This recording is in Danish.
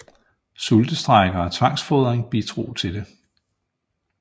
Sultestrejker og tvangsfodring bidrog til det